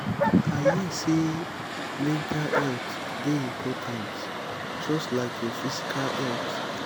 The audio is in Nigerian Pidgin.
i hear sey mental health dey important just like your physical health.